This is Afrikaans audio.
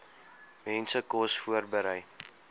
mense kos voorberei